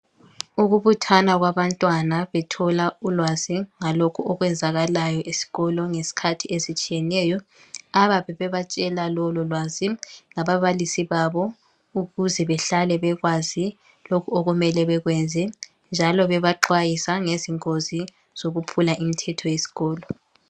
Ukubuthana kwabantwana bethola ulwazi ngalokho okwenzakalayo esikolo ngezikhathi ezitshiyeneyo. Ababe bebatshela lololwazi ngababalisi babo ukuze behlale bekwazi lokhu okumele bekwenze njalo bebaxwayisa ngezingozi zokuphula imithetho yesikolo.